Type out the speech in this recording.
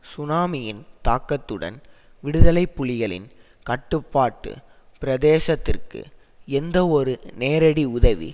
சுனாமியின் தாக்கத்துடன் விடுதலை புலிகளின் கட்டுப்பாட்டு பிரதேசத்திற்கு எந்தவொரு நேரடி உதவி